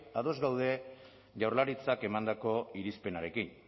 ados daude jaurlaritzak emandako irizpenarekin